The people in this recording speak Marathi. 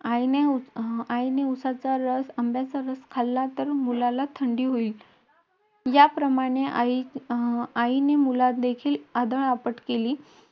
आईने अं आईने उसाचा रस, आंब्याचा रस खाल्ला, तर मुलाला थंडी होईल. त्याप्रमाणे आई अं आईने मुलादेखत आदळआपट केली,